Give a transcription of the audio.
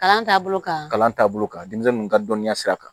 Kalan taabolo kan kalan taabolo kan denmisɛnnin ka dɔnniya sira kan